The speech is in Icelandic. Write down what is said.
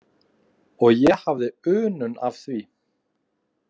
Og ég hafði unun af því.